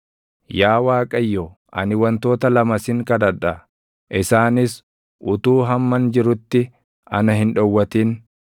“Yaa Waaqayyo ani wantoota lama sin kadhadha; isaanis utuu hamman jirutti ana hin dhowwatin.